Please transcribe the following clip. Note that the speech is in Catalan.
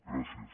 gràcies